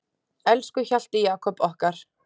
Elsku Hjalti Jakob okkar.